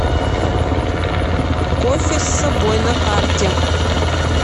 кофе с собой на карте